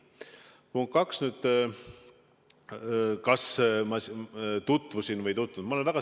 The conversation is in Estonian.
Punkt kaks, kas ma tutvusin või olen tutvunud?